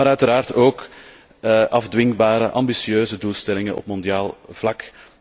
Maar uiteraard ook afdwingbare ambitieuze doelstellingen op mondiaal vlak.